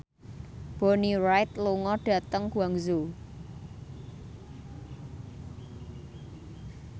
Bonnie Wright lunga dhateng Guangzhou